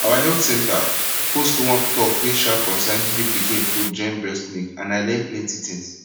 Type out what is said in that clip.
our health center host one talk wey um concern giving pikin food join breast milk and i learn plenty things